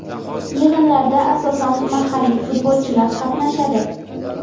Yig‘inlarda asosan mahalliy futbolchilar qatnashadi.